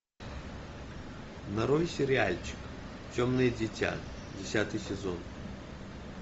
нарой сериальчик темное дитя десятый сезон